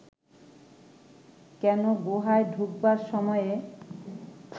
কেন গুহায় ঢুকবার সময়ে